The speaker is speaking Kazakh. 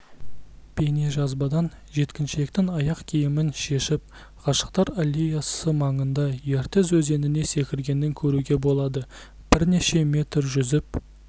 бейнежазбадан жеткіншектің аяқ киімін шешіп ғашықтар аллеясы маңында ертіс өзеніне секіргенін көруге болады бірнеше метр жүзіп